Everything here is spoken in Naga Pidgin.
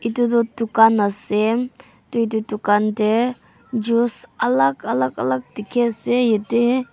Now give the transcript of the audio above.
edu tu dukan ase tui edu dukan tae juice alak alak alak dikhiase yate.